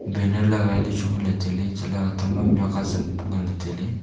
banner lagai lechu nganley tailey chatley atang ma mihak azam nganley tailey.